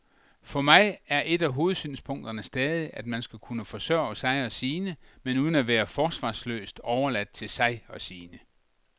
For mig er et af hovedsynspunkterne stadig, at man skal kunne forsørge sig og sine, men uden at være forsvarsløst overladt til sig og sine.